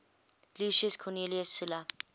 lucius cornelius sulla